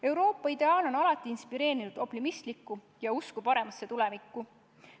Euroopa ideaal on alati inspireerinud optimismi ja usku paremasse tulevikku.